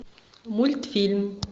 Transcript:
мультфильм